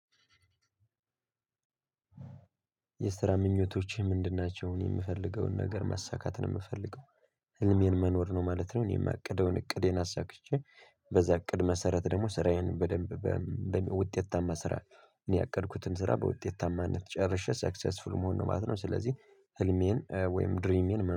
የስራ ምኞቶች ምንድን ናቸው እኔ ምፈልገውን ነገር ማሳካት ነው ምፈልገው ህልሜን መኖር ነው ማለት ነው። እኔ እማቅደውን እቅዴን አሳክቼ በዛ እቅድ መሰረት ደግሞ ስራዬን በደንብ በውጤታማ ስራ ያቀድኩትን ስራ በውጤታማነት ጨርሼ ሰክሰስፉል መሆን ነው ማለት ነው። ስለዚህ ህልሜን ወይም ድሪሜን